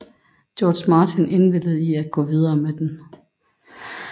George Martin indvilgede i at gå videre med den